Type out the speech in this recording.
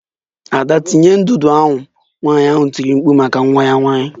Ada tinye ndụdụ ahụ! Nwanyị ahụ tiri mkpu maka nwa ya nwanyị.